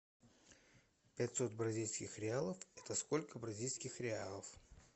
пятьсот бразильских реалов это сколько бразильских реалов